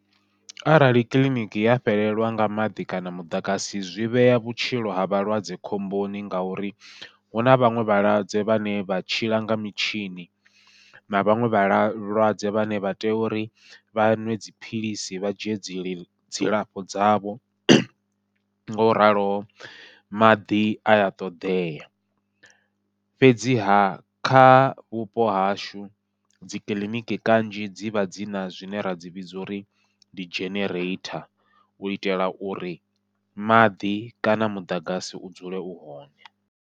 Arali kiḽiniki ya fhelelwa nga maḓi kana muḓagasi zwi vhea vhutshilo ha vhalwadze khomboni, ngauri huna vhaṅwe vhalwadze vhane vha tshila nga mitshini na vhaṅwe vhalwadze vhane vha tea uri vha ṅwe dziphilisi vha dzhie dzi dzilafho dzavho, ngo ralo maḓi aya ṱoḓea. Fhedziha kha vhupo hashu dzikiḽiniki kanzhi dzivha dzina zwine ra dzi vhidza uri ndi genereitha u itela uri maḓi kana muḓagasi u dzule u hone.